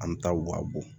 An bɛ taa waa bɔ